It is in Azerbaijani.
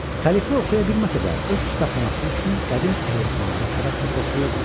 Xəlifə oxuya bilməsə də öz kitabxanası üçün qədim əlyazmaları həvəslə toplayırdı.